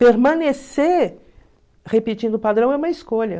Permanecer repetindo o padrão é uma escolha.